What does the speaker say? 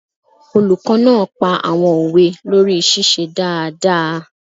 Olùkọ́ náà pa àwọn òwe lórí ṣíṣe dáadáa